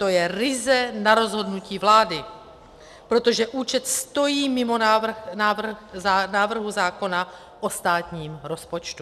To je ryze na rozhodnutí vlády, protože účet stojí mimo návrh zákona o státním rozpočtu.